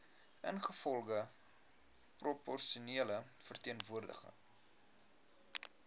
ingevolge proporsionele verteenwoordiging